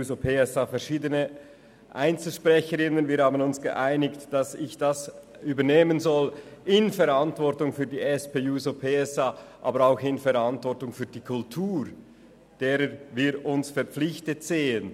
Man hat sich darauf geeinigt, dass ich das in Verantwortung für die SP-JUSO-PSA übernehmen soll, dies aber auch in Verantwortung für die Kultur, welcher wir uns verpflichtet fühlen.